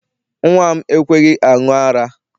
Nnwa m ekweghị aṅụ ara.